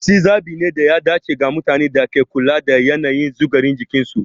Pepsi zabi ne da ya dace ga mutanen da ke kula da yanayin sukarin jikinsu.